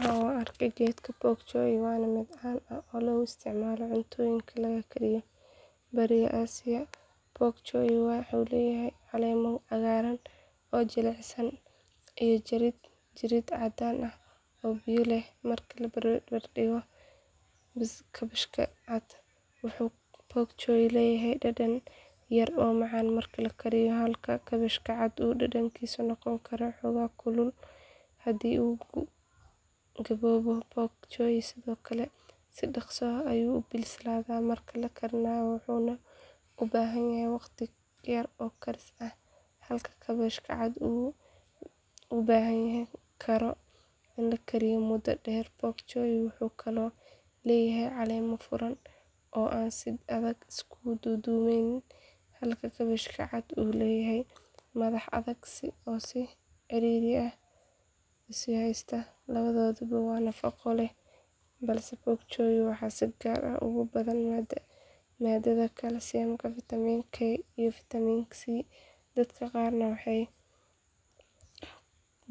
Haa waan arkay geedka pok choi waana mid caan ah oo laga isticmaalo cuntooyinka laga kariyo bariga asia pok choi wuxuu leeyahay caleemo cagaaran oo jilicsan iyo jirid caddaan ah oo biyo leh marka la barbardhigo kaabashka cad wuxuu pok choi leeyahay dhadhan yar oo macaan marka la kariyo halka kaabashka cad uu dhadhankiisu noqon karo xoogaa kulul haddii uu gaboobo pok choi sidoo kale si dhaqso ah ayuu u bislaadaa marka la karinayo wuxuuna u baahan yahay waqti yar oo karis ah halka kaabashka cad uu u baahan karo in la kariyo muddo dheer pok choi wuxuu kaloo leeyahay caleemo furan oo aan si adag isu duudduubnayn halka kaabashka cad uu leeyahay madax adag oo si ciriiri ah isu haysta labadooduba waa nafaqo leh balse pok choi waxaa si gaar ah ugu badan maadada kaalsiyam fiitamiin k iyo fiitamiin c dadka qaarna waxay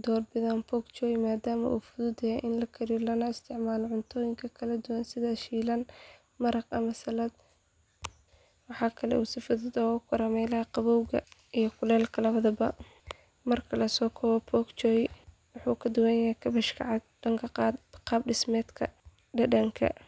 doorbidaan pok choi maadaama uu fudud yahay in la kariyo lana isticmaalo cuntooyin kala duwan sida shiilan maraq ama saladh waxaa kale oo uu si fudud ugu koraa meelaha qabowga iyo kulaylka labadaba marka la soo koobo pok choi wuxuu ka duwan yahay kaabashka cad dhanka qaab dhismeedka dhadhanka.